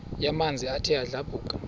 yamanzi ethe yadlabhuka